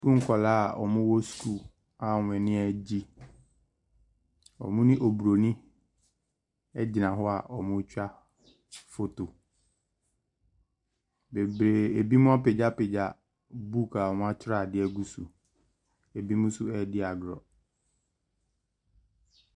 School nkwadaa a wɔwɔ school a wɔn ani agye. Wɔne Oburonin gyian hɔ a wɔretwa photo. Bebree binom apagya pagya book a wɔatwerɛ adeɛ agu so. Binom nso redi agorɔ.